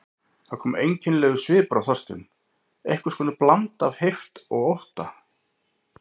Það kom einkennilegur svipur á Þorstein, einhvers konar blanda af heift og ótta.